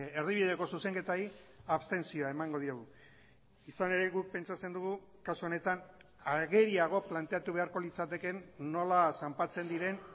erdibideko zuzenketari abstentzioa emango diogu izan ere guk pentsatzen dugu kasu honetan ageriago planteatu beharko litzatekeen nola zanpatzen diren